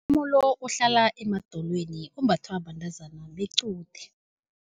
ohlala emadolweni ombathwa bantazana bequde.